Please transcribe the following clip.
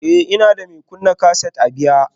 Ee, ina da mai kunna kaset a baya